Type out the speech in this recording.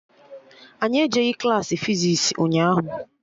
Anyị ejeghị Klassị fizis ụnyaahụ